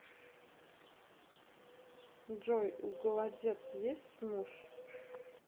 джой у голодец есть муж